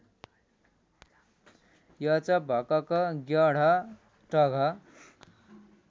एचभकक ज्ञढटघ